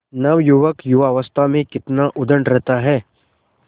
नवयुवक युवावस्था में कितना उद्दंड रहता है